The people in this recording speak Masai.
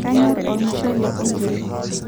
kanyor olmushele onkiri